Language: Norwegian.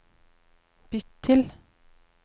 bytt til